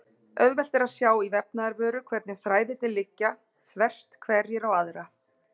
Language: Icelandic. Auðvelt er að sjá í vefnaðarvöru hvernig þræðirnir liggja þvert hverjir á aðra.